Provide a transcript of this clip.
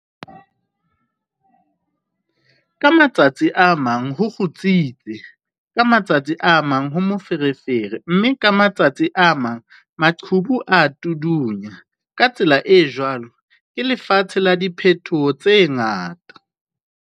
Ka matsatsi a mang ho kgutsitse, ka ma tsatsi a mang ho moferefere mme ka matsatsi a mang maqhubu a a tuduana, ka tsela e jwalo ke lefatshe la diphetoho tse ngata!